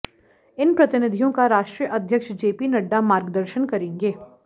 इन प्रतिनिधियों का राष्ट्रीय अध्यक्ष जेपी नड्डा मार्गदर्शन करेंगे